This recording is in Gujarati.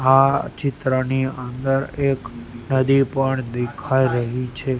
આ ચિત્રની અંદર એક નદી પણ દેખાઈ રહી છે.